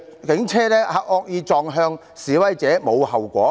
警車惡意撞向示威者，無須負上後果。